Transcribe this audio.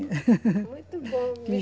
Muito bom.